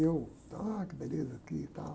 E eu, ah, que beleza aqui e tal.